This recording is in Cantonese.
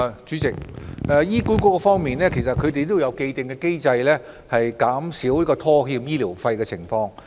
主席，就醫管局而言，其實有既定機制，以減少拖欠醫療費用的情況。